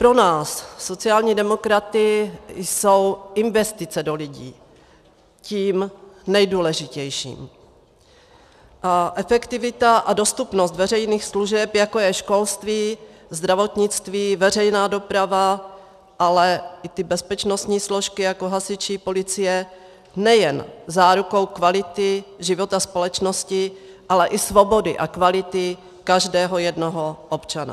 Pro nás, sociální demokraty, jsou investice do lidí tím nejdůležitějším a efektivita a dostupnost veřejných služeb, jako je školství, zdravotnictví, veřejná doprava, ale i ty bezpečnostní složky, jako hasiči, policie, nejen zárukou kvality života společnosti, ale i svobody a kvality každého jednoho občana.